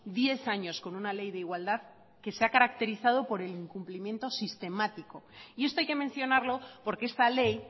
diez años con una ley de igualdad que se ha caracterizado por el incumplimiento sistemático y esto hay que mencionarlo porque esta ley